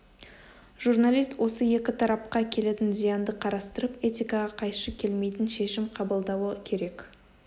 журналист осы екі тарапқа келетін зиянды қарастырып этикаға қайшы келмейтін шешім қабылдауы керек